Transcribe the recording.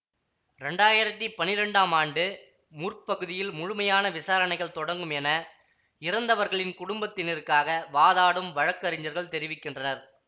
இரண்டாயிரத்தி பன்னிரெண்டாம் ஆண்டு முற் பகுதியில் முழுமையான விசாரணைகள் தொடங்கும் என இறந்தவர்களின் குடும்பத்தினருக்காக வாதாடும் வழக்கறிஞர்கள் தெரிவிக்கின்றனர்